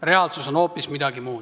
Reaalsus on hoopis midagi muud.